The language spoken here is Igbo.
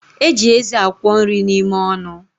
Eji eze akwọ nri n'ime ọnụ